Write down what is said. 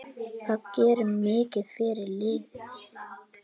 Það gerir mikið fyrir liðið.